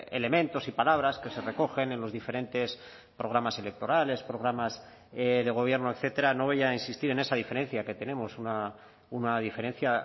elementos y palabras que se recogen en los diferentes programas electorales programas de gobierno etcétera no voy a insistir en esa diferencia que tenemos una diferencia